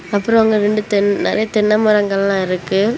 அப்றொ அங்க ரெண்டு தென் நெறைய தென்னை மரங்கள்லா இருக்கு.